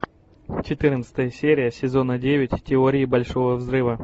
четырнадцатая серия сезона девять теории большого взрыва